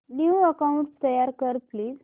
new account तयार कर please